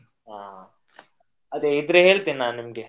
ಹ ಅದೆ ಇದ್ರೆ ಹೇಳ್ತೇನೆ ನಾನ್ ನಿಮ್ಗೆ.